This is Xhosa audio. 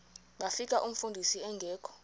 bafika umfundisi engekho